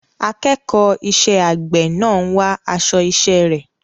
Akẹ́kọ̀ọ́ iṣẹ́ àgbẹ̀ náà ń wá aṣọ iṣẹ́ rẹ̀.